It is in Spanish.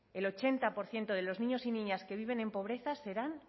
el ochenta por ciento de los niños y niñas que viven en pobreza serán